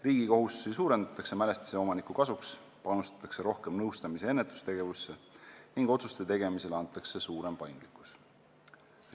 Riigi kohustusi suurendatakse mälestise omaniku kasuks, panustatakse rohkem nõustamis- ja ennetustegevusse ning otsuste tegemiseks antakse rohkem paindlikkust.